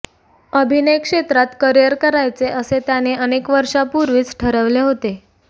अभिनयक्षेत्रात career करायचे असे त्याने अनेक वर्षांपूर्वीच ठरवले होते